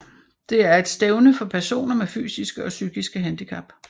Det er et stævne for personer med fysiske og psykiske handicap